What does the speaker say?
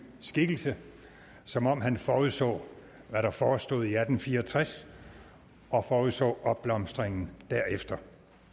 skikkelse som om han forudså hvad der forestod i atten fire og tres og forudså opblomstringen derefter